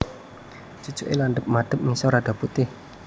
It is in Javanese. Cucuke landhep madhep ngisor rada putih